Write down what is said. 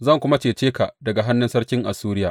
Zan kuma cece ka daga hannun sarkin Assuriya.